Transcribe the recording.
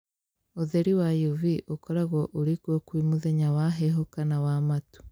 Ũtheri wa UV ũkoragwo ũrĩkuo kwĩ mũthenya wa heho kana wa matu